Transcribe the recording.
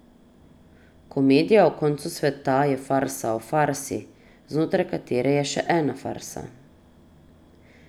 Komedija o koncu sveta je farsa o farsi, znotraj katere je še ena farsa.